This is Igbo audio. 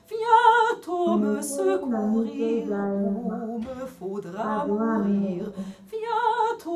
“ Ọ na - esiri nna m ike ịja anyị mma, ” ka Joan na - ekwu.